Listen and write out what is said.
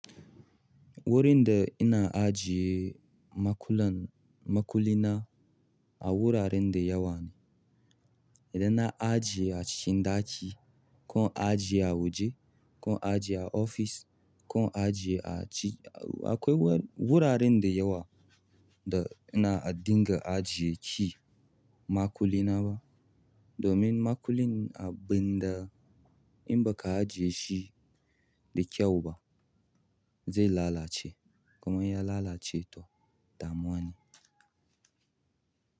Wurin da ina ajiye makulan-- makulina a wuraren dayawa ne. Idan na ajiye a cikin ɗaki ko in ajiye a waje, ko in ajiye a office, ko in ajiye a ci, akwai wur- wuraren da yawa da ina dinga ajiye key, makulina ba. Domin makulin abinda in baka ajiye shi da kyau ba zai lalace. Kuma ya lalace to, damuwa ne.